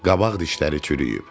Qabaq dişləri çürüyüb.